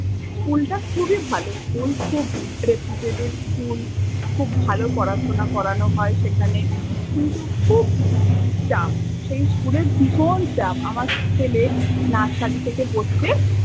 School টা খুবই ভালো school খুব reputated school, খুব ভালো পড়াশুনা করানো হয় সেখানে, কিন্তু খুব চাপ। সেই school এর ভীষণ চাপ। আমার ছেলে nursery থেকে পড়ছে।